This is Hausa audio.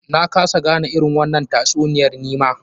Na kasa gane irin wannan tatsuniyar nima.